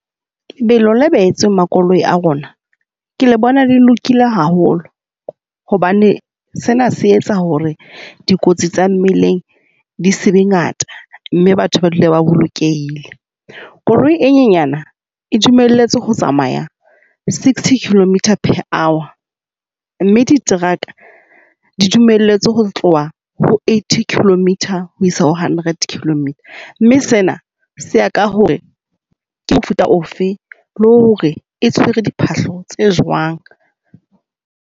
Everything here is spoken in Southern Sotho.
Lebelo le behetsweng makoloi a rona ke le bona le lokile haholo hobane sena se etsa hore dikotsi tsa mmileng di se be ngata, mme batho dule ba bolokehile. Koloi e nyenyana e dumelletswe ho tsamaya, sixty kilometers per hour. Mme diteraka di dumelletswe ho tloha ho eighty kilometer ho isa ho hundred kilometre. Mme sena se ya ka hore ke mofuta o fe le hore e tshwere diphahlo tse jwang.